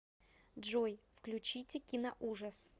джой включите киноужас